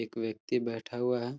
एक व्यक्ति बैठा हुआ है।